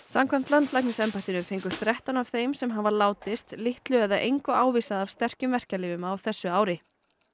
samkvæmt landlæknisembættinu fengu þrettán af þeim sem hafa látist litlu eða engu ávísað af sterkum verkjalyfjum á þessu ári